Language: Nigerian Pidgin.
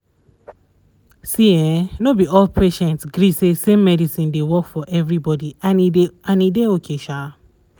see ehnno be all patients gree say same medicine dey work for everybody and e dey and e dey okay sha